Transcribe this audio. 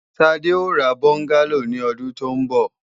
Sade ó ra bọ́ngálò ní ọdún tó ń bọ̀